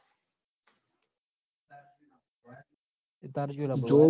તે તાર ચિયાં લાબબો સ